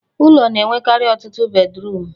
Ụlọ na-enwekari ọtụtụ bedruum